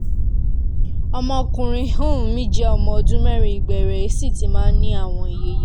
ọmọkùnrin um mi jẹ́ ọmọ ọdún mẹ́rin ìgbẹ́ rẹ̀ sì ti máa ń ní àwọ̀ ìye